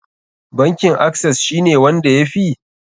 Bankin acess shi ne wanda ya fi?